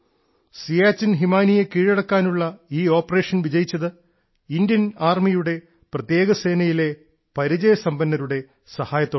സിയാച്ചിൻ ഹിമാനിയെ കീഴടക്കാനുള്ള ഈ ഓപ്പറേഷൻ വിജയിച്ചത് ഇന്ത്യൻ ആർമിയുടെ പ്രത്യേക സേനയിലെ പരിചയസമ്പന്നരുടെ സഹായത്തോടെയാണ്